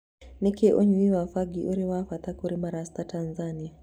Nĩkĩ ũnyui wa bangi ũrĩ wabata kũrĩ marasta Tanzania